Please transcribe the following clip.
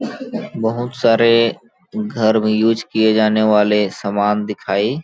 बहुत सारे घर में यूज किए जाने वाले सामान दिखाई --